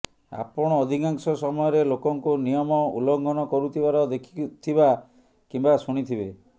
ଆପଣ ଅଧିକାଂଶ ସମୟରେ ଲୋକଙ୍କୁ ନିୟମ ଉଲ୍ଲଘଂନ କରୁଥିବାର ଦେଖିଥିବା କିମ୍ବା ଶୁଣିଥିବେ